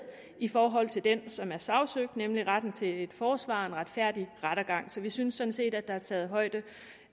i forhold til den som er sagsøgt nemlig retten til et forsvar en retfærdig rettergang så vi synes sådan set at der er taget højde